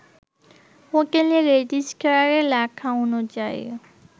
হোটেলে রেজিস্ট্রারে লেখা অনুযায়ী